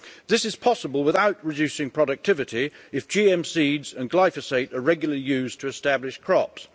This is possible without reducing productivity if GM seeds and glyphosate are regularly used to establish crops.